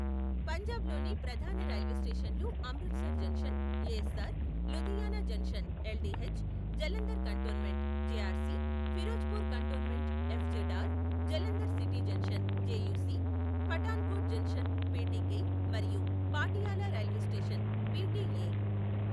పంజాబ్లోని ప్రధాన రైల్వే స్టేషన్లు Amritsar junction, ASR , Ludhiana junction, LDH, Jalandhar cantonment, JRC, Ferozepur cantonment, FZR, Jalandhar city junction, JUC, Pathankot junction, PTK మరియు Patiala railway station, PTA.